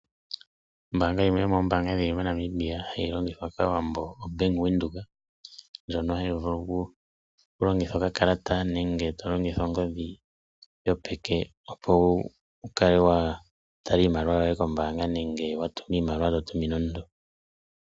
Ombanga yimwe yomoombanga dhili moNamibia ndjoka hayi longithwa kaawambo ombanga yaVenduka ndjoka hayi longitha okakalata nenge ongodhi yopeke opo wukale watala iimaliwa yoye kombaanga nenge watumina iimaliwa totumine omuntu.